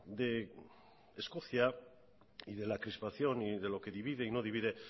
de escocia y de la crispación y de lo que divide y no divide